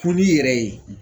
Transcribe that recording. Kun n'i yɛrɛ ye